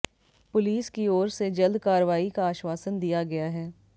police की ओर से जल्द कार्रवाई का आश्वासन दिया गया है